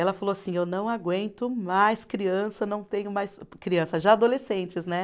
Ela falou assim, eu não aguento mais criança, não tenho mais criança, já adolescentes, né?